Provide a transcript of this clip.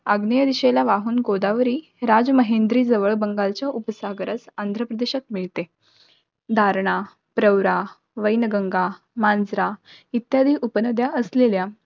अग्न्येय दिशेला वाहून गोदावरी, राजमहेंद्री जवळ बंगालच्या उपसागरात, आंध्रप्रदेशात मिळते. दारणा, प्रवरा, वैनगंगा, मांजरा इत्यादी उपनद्या असलेल्या